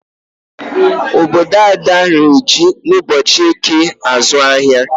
Obodo Ada ree ji ụbochị eke azụ ahịa.